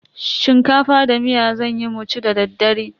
Shinkafa da miya zanyi mu ci da daddare.